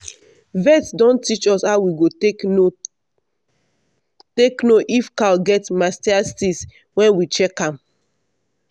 vet don teach us how we go take know take know if cow get mastitis when we check am.